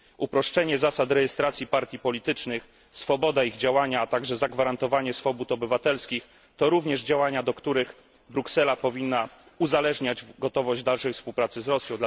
Uproszczenie zasad rejestracji partii politycznych, swoboda ich działania, a także zagwarantowanie swobód obywatelskich, to również działania, od których Bruksela powinna uzależniać gotowość dalszej współpracy z Rosją.